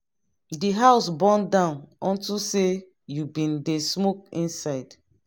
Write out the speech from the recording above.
the house burn down unto say you bin dey smoke inside.